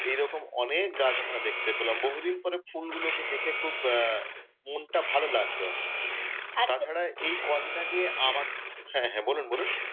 এই রকম অনেক গাছ আমরা দেখতে পেলাম। বহুদিন পরে ফুলগুলো কে দেখে খুব আহ মনটা ভালো লাগলো। তাছাড়া এই কদিন আগে , হ্যাঁ হ্যাঁ বলুন বলুন,